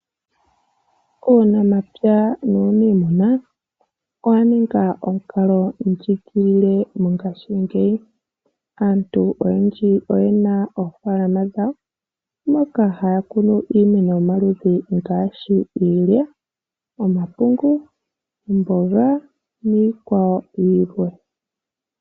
Uunamapya nuunimuna owa ninga omukalo ndjigilile mongashiingeyi. Aantu oyendji oy ena oofaalama dhawo moka haya kunu iimeno yomaludhi ngaashi iilya, omapungu, omboga niikwawo yilwe.